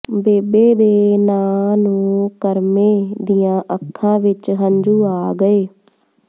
ਬੇਬੇ ਦੇ ਨਾਂ ਨੂੰ ਕਰਮੇਂ ਦੀਆਂ ਅੱਖਾਂ ਵਿਚ ਹੰਝੂ ਆ ਗਏ